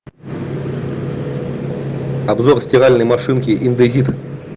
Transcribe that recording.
обзор стиральной машинки индезит